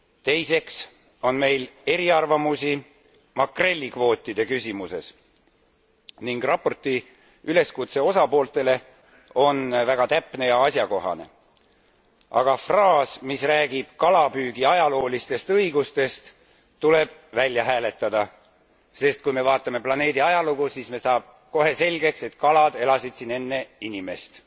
Teiseks on meil eriarvamusi makrellikvootide küsimuses ning raporti üleskutse osapooltele on väga täpne ja asjakohane, aga fraas, mis räägib kalapüügi ajaloolistest õigustest, tuleb välja hääletada, sest kui me vaatame planeedi ajalugu, siis saab meile kohe selgeks, et kalad elasid siin enne inimest